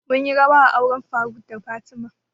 Mun yi rawa a auren faruk da fatima